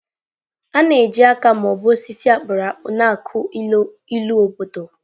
A na-eji aka ma ọ bụ osisi a kpụrụ akpụ na-akụ ilu obodo.